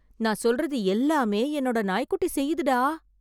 நான் சொல்றது எல்லாமே என்னோட நாய் குட்டி செய்யுதுடா